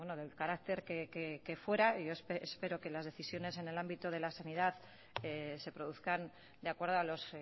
del carácter que fuera espero que las decisiones en el ámbito de la sanidad se produzcan de acuerdo a los